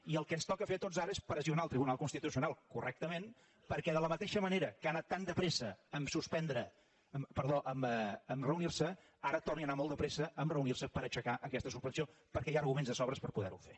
i el que ens toca fer a tots ara és pressionar el tribunal constitucional correctament perquè de la mateixa manera que ha anat tan de pressa a reunirse ara torni a anar molt de pressa a reunirse per aixecar aquesta suspensió perquè hi ha arguments de sobres per poderho fer